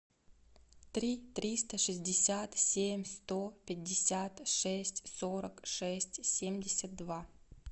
три триста шестьдесят семь сто пятьдесят шесть сорок шесть семьдесят два